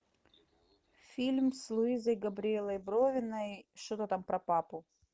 фильм с луизой габриэлой бровиной что то там про папу